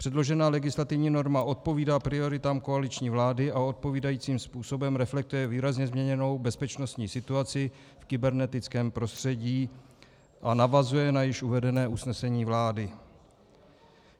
Předložená legislativní norma odpovídá prioritám koaliční vlády a odpovídajícím způsobem reflektuje výrazně změněnou bezpečnostní situaci v kybernetickém prostředí a navazuje na již uvedené usnesení vlády.